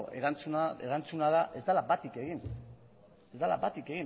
erantzuna da ez dela batik egin ez dela bat